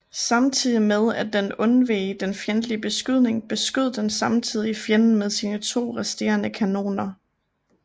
Samtidig med at den undveg den fjendtlige beskydning beskød den samtidig fjenden med sine to resterende kanoner